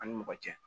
An ni mɔgɔ cɛ